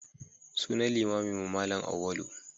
Sunan limaminmu Malam Auwalu.